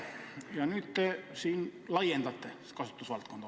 Ja nüüd te siin hoopis laiendate selle kasutusvaldkonda.